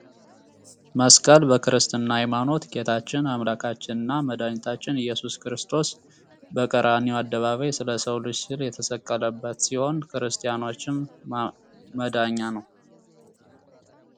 መስቀል በክርስትና ሃይማኖት ጌታችን አምላካችንና መድኃኒታችን ኢየሱስ ክርስቶስ በቀራኒዮ አደባባይ ስለ ሰው ልጅ ሲል የተሰቀለበት ሲሆን ለክርስቲያኖችም መዳኛ ነው።